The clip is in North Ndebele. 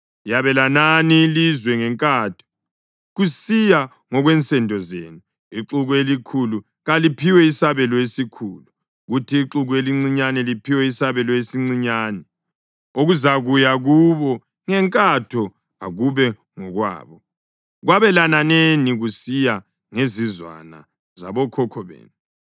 Yabelanani ilizwe ngenkatho, kusiya ngokwensendo zenu. Ixuku elikhulu kaliphiwe isabelo esikhulu, kuthi ixuku elincinyane liphiwe isabelo esincinyane. Okuzakuya kubo ngenkatho akube ngokwabo. Kwabelananeni kusiya ngezizwana zabokhokho benu.